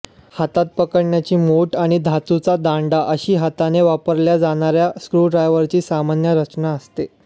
हातात पकडण्याची मूठ आणि धातूचा दांडा अशी हाताने वापरल्या जाणाऱ्या स्क्रू ड्रायवरची सामान्य रचना असते